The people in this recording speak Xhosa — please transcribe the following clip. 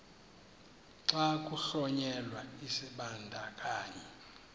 xa kuhlonyelwa isibandakanyi